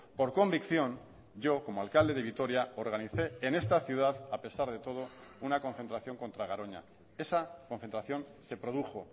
por convicción yo como alcalde de vitoria organicé en esta ciudad a pesar de todo una concentración contra garoña esa concentración se produjo